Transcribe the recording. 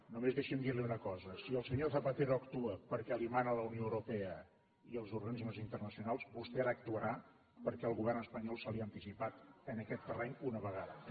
només deixi’m dir li una cosa si el senyor zapatero actua perquè li ho mana la unió europea i els organismes internacionals vostè ara actuarà perquè el govern espanyol se li ha anticipat en aquest terreny una vegada més